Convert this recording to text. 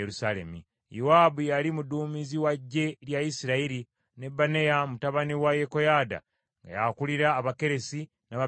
Yowaabu yali muduumizi wa ggye lya Isirayiri, ne Benaya mutabani wa Yekoyaada nga y’akulira Abakeresi, n’Abaperesi.